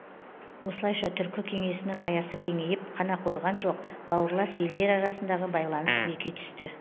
осылайша түркі кеңесінің аясы кеңейіп қана қойған жоқ бауырлас елдер арасындағы байланыс беки түсті